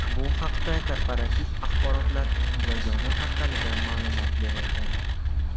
Bu haqda Korporativ axborotlar yagona portalida ma’lumot berilgan .